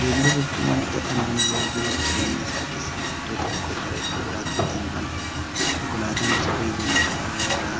Geejjiba jechuun wanta dhalli namaa jiruuf jireenya isaa keessatti iddoo tokkoo gara iddoo birootti ittiin imaluudha. Konkolaatan gosa geejjibaa lafarraa